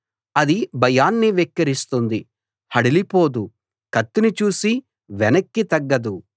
అది భయాన్ని వెక్కిరిస్తుంది హడలిపోదు కత్తిని చూసి వెనక్కి తగ్గదు